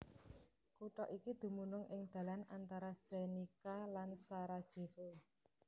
Kutha iki dumunung ing dalan antara Zenica lan Sarajevo